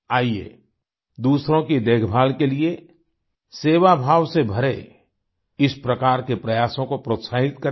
आइये दूसरों की देखभाल के लिए सेवाभाव से भरे इस प्रकार के प्रयासों को प्रोत्साहित करें